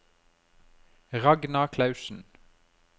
Ragna Klausen